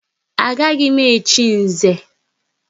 Agaghị m echi Nze!